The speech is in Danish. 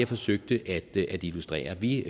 forsøgte at illustrere vi